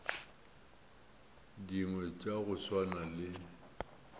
dingwe tša go swana le